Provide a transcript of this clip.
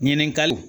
Ɲininkaliw